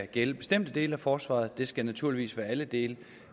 gælde bestemte dele af forsvaret det skal naturligvis være alle dele